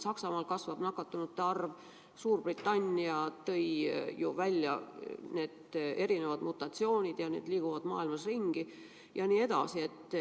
Saksamaal kasvab nakatunute arv, Suurbritannia juhtis tähelepanu uutele mutatsioonidele ja need liiguvad maailmas ringi.